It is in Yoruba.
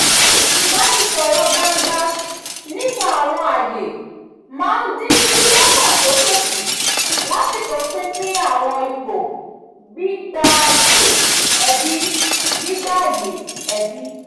ìbánisọ̀rọ̀ gbangba nípa àwọn ààyè máa ń dín gbígbọ́kàn sókè kù lásìkò pínpín àwọn ipò gbígbáyé ẹbí gbígbáyé ẹbí